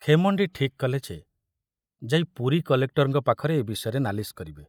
ଖେମଣ୍ଡି ଠିକ କଲେ ଯେ ଯାଇ ପୁରୀ କଲେକ୍ଟରଙ୍କ ପାଖରେ ଏ ବିଷୟରେ ନାଲିସ କରିବେ।